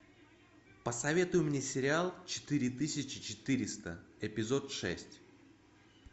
посоветуй мне сериал четыре тысячи четыреста эпизод шесть